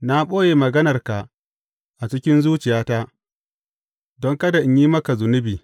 Na ɓoye maganarka a cikin zuciyata don kada in yi maka zunubi.